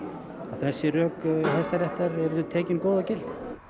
þessi rök Hæstaréttar yrðu tekin góð og gild